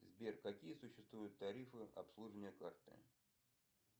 сбер какие существуют тарифы обслуживания карты